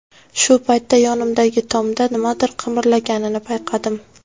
Shu paytda yonimdagi tomda nimadir qimirlaganini payqadim.